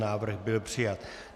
Návrh byl přijat.